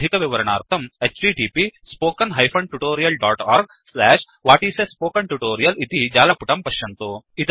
अधिकविवर्णार्थं 1 इति जालपुटं पश्यन्तु